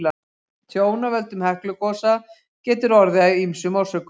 Tjón af völdum Heklugosa getur orðið af ýmsum orsökum.